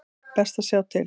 Best að sjá til.